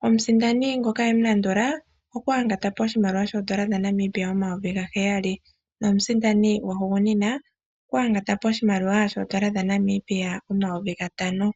nomutiyali omayovi gaheyali nogwa guhugunina okwa yangatapo omayovi gatano.